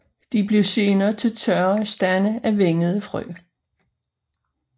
De bliver senere til tørre stande af vingede frø